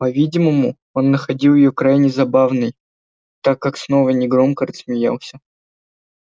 по-видимому он находил её крайне забавной так как снова негромко рассмеялся